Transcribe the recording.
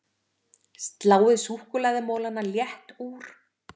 Sláið súkkulaðimolana létt úr